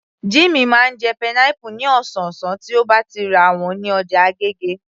Jummy máa ń jẹ pineapple ní ọ̀sọ̀ọ̀sán tí ó bá ti rà wọ́n ní ọjà agége